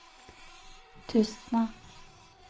Tustna